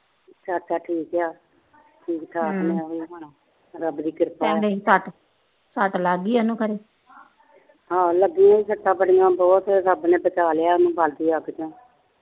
ਹਾ ਲੱਗੀ ਸੱਟਾ ਬਹੁਤ ਰੱਬ ਨੇ ਬਚਾ ਲਿਆ ਬਲਦੀ ਅੱਗ ਚੋ